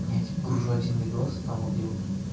я тебя гружу один видос там вот где вот